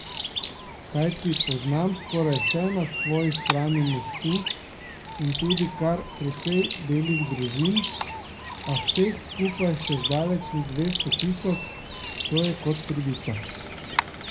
Kajti poznam skoraj vse na svoji strani mostu in tudi kar precej belih družin, a vseh skupaj še zdaleč ni dvesto tisoč, to je kot pribito.